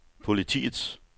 politiets